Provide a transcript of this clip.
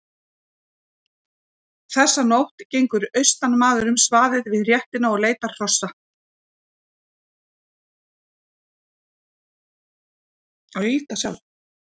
Þessa nótt gengur austanmaður um svaðið við réttina og leitar hrossa.